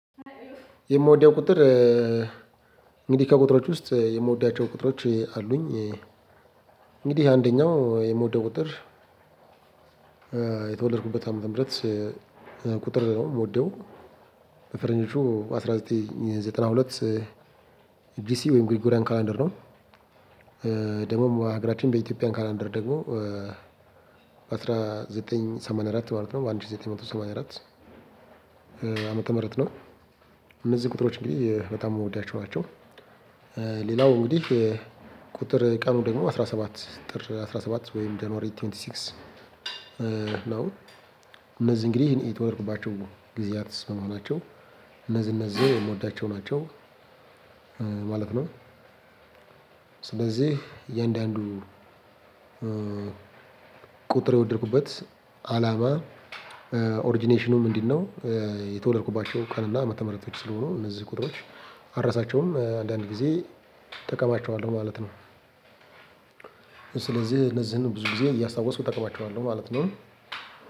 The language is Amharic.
የምወደው ቁጥር እንግዲህ ከቁጥሮች ውስጥ የምወዳቸው ቁጥሮች አሉኝ። እንግዲህ አንደኛው የምወደው ቁጥር። የተወለድኩበት አመት ምህረት ቁጥር ነው የምወደው። በፈረንጆቹ አንድ ሺህ ዘጠኝ መቶ ዘጠና ሁለት ዲሲ ወይም ግሪጎሪያን ካላንደር ነው። ደግሞም በሀገራችን በኢትዮጵያን ካላንደር ደግሞ። አስራ በአንድ ሺህ ዘጠኝ መቶ ሰማንያ አራት ማለት ነው አንድ ሺህ ዘጠኝ መቶ ሰማንያ አራት አመት ተመረጥነው። እነዚህ ቁጥሮች እንግዲህ በጣም የምወዳቸው ናቸው። ሌላው እንግዲህ ቁጥር ቀኑ ደግሞ አስራ ሰባት ጥር አስራ ሰባት ወይም ጄንዋሪ ቱዌንቲ ሲክስ ነው። እነዚህ እንግዲህ የተወለድኩባቸው ጊዜያት ስለመሆናቸው እነዚህ እነዚህን የምወዳቸው ናቸው ማለት ነው። ስለዚህ እያንዳንዱ ቁጥር የወደድኩበት አላባ ኦሪጅኔሽኑም እንዲ ነው። የተወለድኩባቸው ቀንና አመተምረቶች ስለሆኑ እነዚህ ቁጥሮች አርሳቸውም አንዳንድ ጊዜ እጠቀማቸዋለሁ ማለት ነው። ስለዚህ እነዚህን ብዙ ጊዜ እያስታወስኩ እጠቀማቸዋለሁ ማለት ነው።